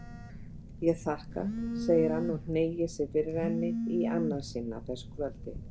Ég þakka, segir hann og hneigir sig fyrir henni í annað sinn á þessu kvöldi.